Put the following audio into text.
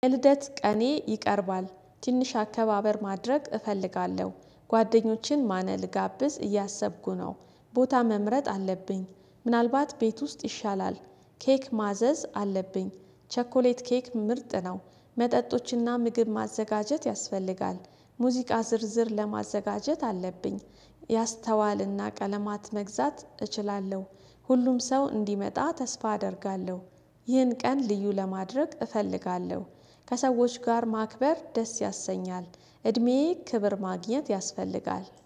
ልደት ቀኔ ይቀርባል ትንሽ አከባበር ማድረግ እፈልጋለሁ ጓደኞችን ማነል ጋብዝ እያሰብኩ ነው። ቦታ መምረጥ አለብኝ ምናልባት ቤት ውስጥ ይሻላል። ኬክ ማዘዝ አለብኝ። ቸኮሌት ኬክ ምርጥ ነው። መጠጦችና ምግብ ማዘጋጀት ያስፈልጋል። ሙዚቃ ዝርዝር ለማዘጋጀት አለብኝ። ያስተዋልና ቀለማት መግዛት እችላለሁ። ሁሉም ሰው እንዲመጣ ተስፋ አደርጋለሁ። ይህን ቀን ልዩ ለማድረግ እፈልጋለሁ። ከሰዎች ጋር ማክበር ደስ ያሰኛል። እድሜዬ ክብር ማግኘት ያስፈልጋል